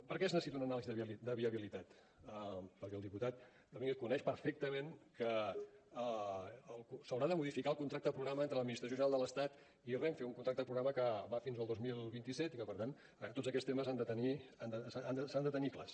per què es necessita una anàlisi de viabilitat perquè el diputat domínguez coneix perfectament que s’haurà de modificar el contracte programa entre l’administració general de l’estat i renfe un contracte programa que va fins al dos mil vint set i que per tant tots aquests temes s’han de tenir clars